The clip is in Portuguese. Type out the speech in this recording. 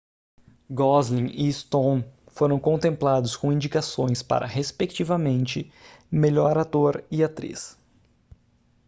gosling e stone foram contemplados com indicações para respectivamente melhor ator e atriz